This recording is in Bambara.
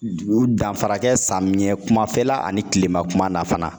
Danfara kɛ samiyɛ kumafɛla ani kilema kuma na fana